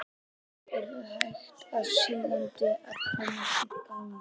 Þeir eru hægt og sígandi að komast í gang.